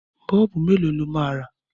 Bọ́ọ̀bù mélòó lọ máa rà?